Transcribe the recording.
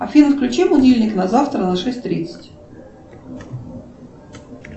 афина включи будильник на завтра на шесть тридцать